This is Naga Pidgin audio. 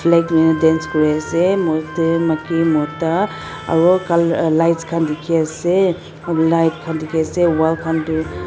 dance kuriase maki mota aro colour lights khan dikhiase aru light khan dikhiase wall khan tu--